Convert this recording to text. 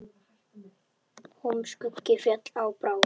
Húm skuggi féll á brá.